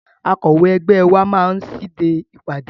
Akọ̀wé ẹgbẹ́ wa máa ṣíde ìpàdé.